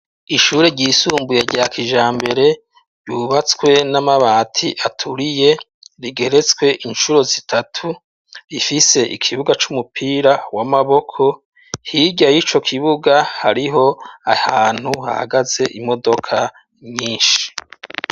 Ishure ryisumbuye rya kijambere ryubatswe n'amabati aturiye, rigeretswe inshuro zitatu, rifise ikibuga c'umupira w'amaboko hirya y'ico kibuga hariho ahantu hahagaze imodoka nyinshi.